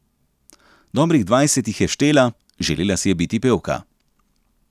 Dobrih dvajset jih je štela, želela si je biti pevka.